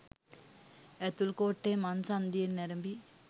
ඇතුල්කෝට්ටේ මංසන්ධියෙන් අරැඹි